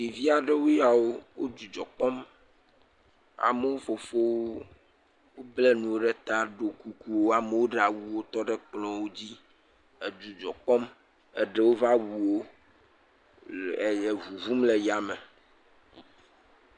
Ɖeviawo yawo, wò dzidzɔ kpɔm. Amewo fofowo bla nu ɖe ta ɖo kuku wò. Amewo ɖe awuwo hetsɔ ɖe ekplɔ wodzi le dzidzɔ kpɔm. Eɖewo va wu wo le ʋuʋum le tame.